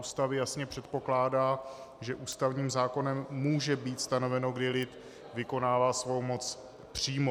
Ústavy jasně předpokládá, že ústavním zákonem může být stanoveno, kdy lid vykonává svou moc přímo.